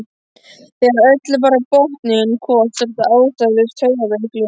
Þegar öllu var á botninn hvolft var þetta ástæðulaus taugaveiklun.